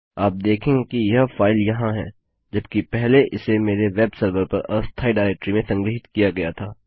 आप देखेंगे कि यह फाइल यहाँ है जबकि पहले इसे मेरे वेब सर्वर पर अस्थायी डाइरेक्टरी में संग्रहीत किया गया था